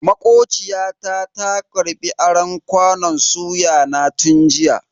Makociya ta ta karbi aron kwanon suya na tun jiya.